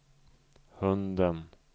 hunden